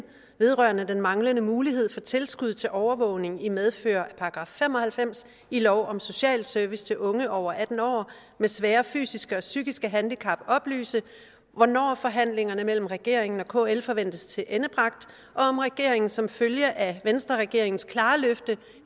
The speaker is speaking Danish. vedrørende den manglende mulighed for tilskud til overvågning i medfør af § fem og halvfems i lov om social service til unge over atten år med svære fysiske og psykiske handicap oplyse hvornår forhandlingerne mellem regeringen og kl forventes tilendebragt og om regeringen som følge af venstreregeringens klare løfte